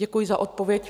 Děkuji za odpověď.